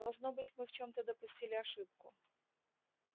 должно быть мы в чем-то допустили ошибку